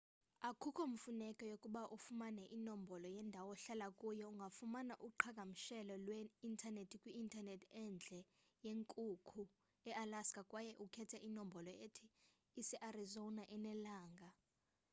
akukho mfuneko yokuba ufumane inombolo yendawo ohlala kuyo ungafumana uqhagamshelo lwe-intanethi kwi-intanethi endle yenkukhu ealaska kwaye ukhethe inombolo ethi usearizona enelanga